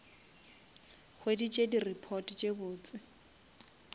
hweditse di report tse botse